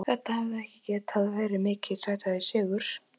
Þetta hefði ekki getað verið mikið sætari sigur.